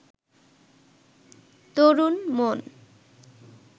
তরুণ-মন